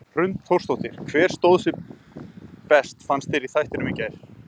Hrund Þórsdóttir: Hver stóð sig best fannst þér í þættinum í gær?